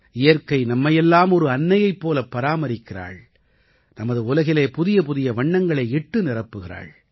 இயற்கை நம்மையெல்லாம் ஒரு அன்னையைப் போலப் பராமரிக்கிறாள் நமது உலகிலே புதியபுதிய வண்ணங்களை இட்டு நிரப்புகிறாள்